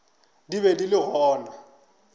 di be di le gona